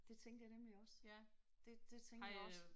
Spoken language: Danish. Det tænkte jeg nemlig også. Det det tænkte jeg også